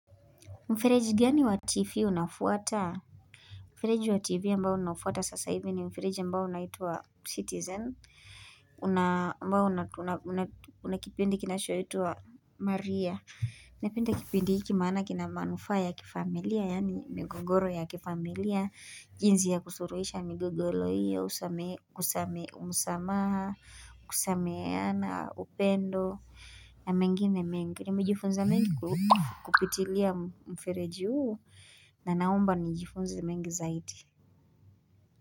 Mfereji gani wa TV unafuata? Mfereji wa TV ambao unafuata sasa hivi ni mfereji ambao unaituwa Citizen. Ambao una kipindi kinachoitwa Maria. Napenda kipindi hiki maana kina manufaa ya kifamilia, yaani migogoro ya kifamilia. Jinsi ya kusuluhisha migogoro iyo, msamaha, kusameheana, upendo na mengine mengi. Nimejifunza mengi kupitilia mfereji huu na naomba nijifunze mengi zaidi.